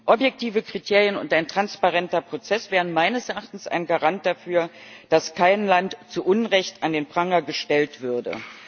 Objektive Kriterien und ein transparenter Prozess wären meines Erachtens ein Garant dafür, dass kein Land zu Unrecht an den Pranger gestellt würde.